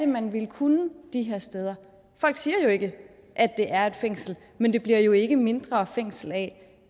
man ville kunne de her steder folk siger jo ikke at det er et fængsel men det bliver jo ikke mindre fængsel af